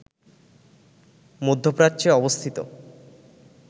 মধ্যপ্রাচ্যে অবস্থিত